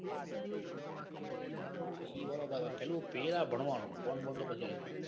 ઈ બરાબર પેલા પેરુ ભણવાનું ફોન બોન તો આયવા લાગશે.